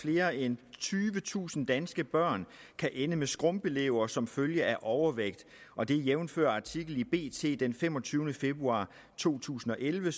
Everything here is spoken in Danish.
flere end tyvetusind danske børn kan ende med skrumpelever som følge af overvægt jævnfør artikel i bt den femogtyvende februar to tusind og elleve